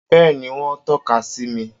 Bẹ́ẹ̀ni, wón tọ́ka sí mi